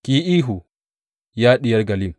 Ki yi ihu, ya Diyar Gallim!